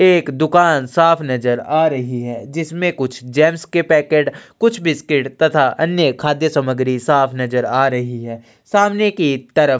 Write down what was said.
एक दुकान साफ नज़र आ रही है जिसमे कुछ जेम्स के पैकेट कुछ बिस्किट तथा कुछ अन्य खाद्य सामग्री साफ नज़र आ रही है सामने की तरफ--